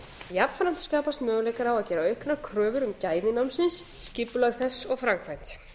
jafnframt skapast möguleikar á að gera auknar kröfur um gæði námsins skipulag þess og framkvæmd